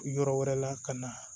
Yɔrɔ wɛrɛ la ka na